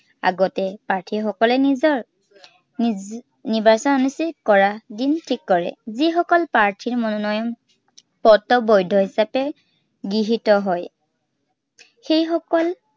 আগতে প্ৰাৰ্থীসকলে নিজৰ নিৰ্বাচন অনুষ্ঠিত কৰাৰ দিন ঠিক কৰে। যি সকলে প্ৰাৰ্থীৰ মনোনয়ন, পত্ৰ বৈধ হিচাপে গৃহীত হয়। সেইসকল